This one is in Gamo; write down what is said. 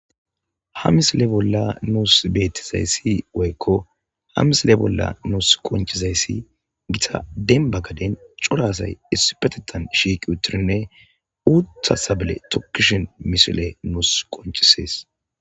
ha misile bolla nuus bettizayssi woykko hamisile bolla nuus qonchizayssi gita denba gaden corasay issu petettan shiiqi uttirinne uutta sabale tokkishin mishile nuus qonchisees